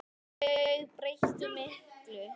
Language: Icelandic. Já, þau breyttu miklu.